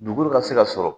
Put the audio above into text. Dugukolo ka se ka sɔrɔ